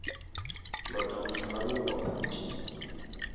lota mohlala woo wa phuti